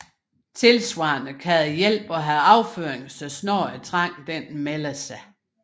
Tilsvarende kan det hjælpe at have afføring så snart trangen melder sig